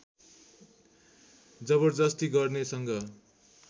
जबरजस्ती गर्ने सँग